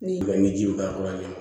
Ni ji bɛ ka fura kɛ